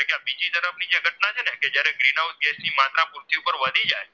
Green house ની માત્ર પૃથ્વી પાર વધી જાય